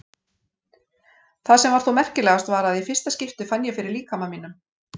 Það sem var þó merkilegast var að í fyrsta skipti fann ég fyrir líkama mínum.